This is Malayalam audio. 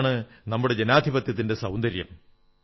ഇതാണ് നമ്മുടെ ജനാധിപത്യത്തിന്റെ സൌന്ദര്യം